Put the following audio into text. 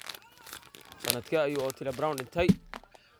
Sannadkee ayuu Otile Brown dhintay?